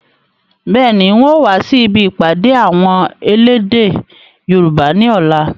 Bẹ́ẹ̀ni, ń ò wa si ibi ìpàdé àwọn elédè Yorùbá ni ọ̀la